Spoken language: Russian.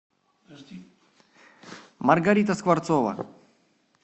маргарита скворцова